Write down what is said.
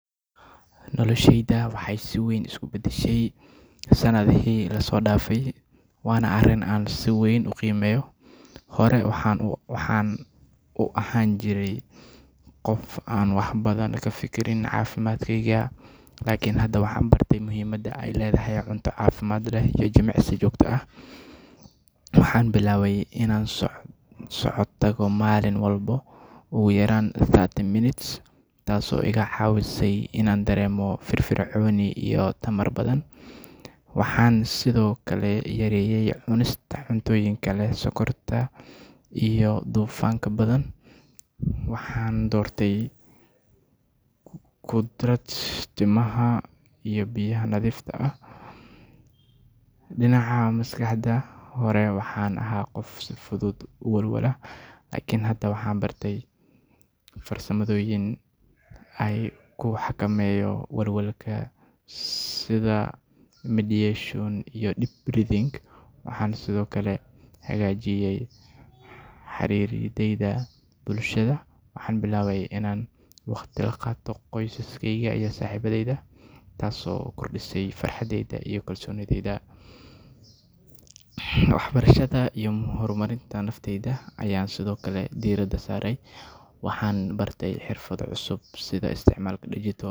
Nolosheyda waxay si weyn isu beddeshay sanadihii la soo dhaafay, waana arrin aan si weyn u qiimeeyo. Hore waxaan u ahaan jiray qof aan wax badan ka fikirin caafimaadkayga, laakiin hadda waxaan bartay muhiimadda ay leedahay cunto caafimaad leh iyo jimicsi joogto ah. Waxaan bilaabay inaan socod tago maalin walba ugu yaraan thirty minutes, taasoo iga caawisay inaan dareemo firfircooni iyo tamar badan. Waxaan sidoo kale yareeyay cunista cuntooyinka leh sokorta iyo dufanka badan, waxaana doortay khudrad, miraha iyo biyaha nadiifta ah. Dhinaca maskaxda, hore waxaan ahaa qof si fudud u walwala, laakiin hadda waxaan bartay farsamooyin aan ku xakameeyo walwalka sida meditation iyo deep breathing. Waxaan sidoo kale hagaajiyay xiriiradayda bulshada, waxaan billaabay inaan waqti la qaato qoyskeyga iyo saaxiibadayda, taasoo kordhisay farxaddayda iyo kalsoonidayda. Waxbarashada iyo horumarinta naftayda ayaan sidoo kale diiradda saaray, waxaan bartay xirfado cusub sida isticmaalka digital.